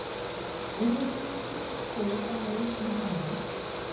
Virðast vera þrjú stig á leið í Hamar?